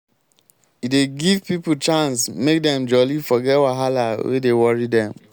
e dey give pipo chance make dem jolly forget wahala wey dey worry dem.